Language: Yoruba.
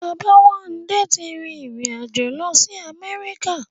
Bàbáwándé ti rí ìrìn-àjò lọ sí Amẹ́ríkà